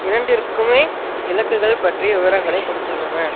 இரண்டிற்குமே இலக்குகள் பற்றிய விவரங்களை கொடுத்துள்ளன